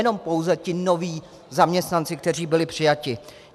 Nejenom pouze ti noví zaměstnanci, kteří byli přijati.